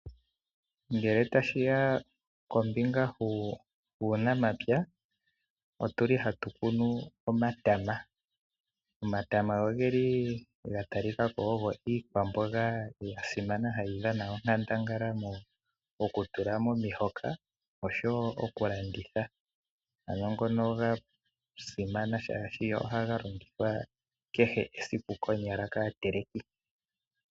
Ngele tashiya kombinga yuunamapya otuli hatu kunu omatama. Omatama ogeli gatalikako ogo iikwamboga yasimama hayi dhana onkandangala mokutula momihoka osho wo okulanditha, ano ngono ga simana shaashi ohaga longithwa kehe esiku konyala kaateleki.